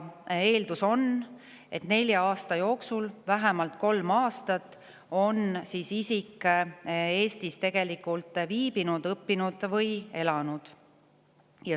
Eeldus on, et nelja aasta jooksul vähemalt kolm aastat on isik Eestis tegelikult viibinud, õppinud või elanud.